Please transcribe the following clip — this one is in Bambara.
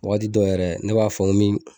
Waati dɔ yɛrɛ ne b'a fɔ min